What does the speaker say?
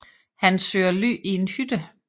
Han søger ly i en hytte